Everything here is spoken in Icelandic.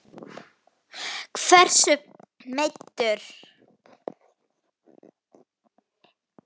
Hversu meiddur?